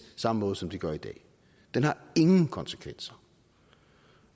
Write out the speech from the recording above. samme måde som de gør i dag den har ingen konsekvenser